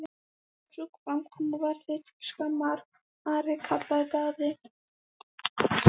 Sú framkoma var þér til skammar, Ari, kallaði Daði.